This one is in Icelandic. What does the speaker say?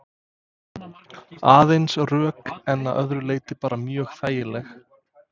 Aðeins rök en að öðru leyti bara mjög þægileg?